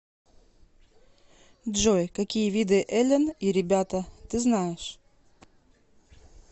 джой какие виды элен и ребята ты знаешь